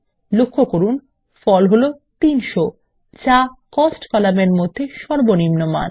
লক্ষ্য করুন ফল হলো ৩০০ যা কোস্ট কলামের মধ্যে সর্বনিম্ন মান